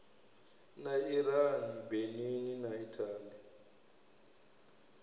na iran benin na italy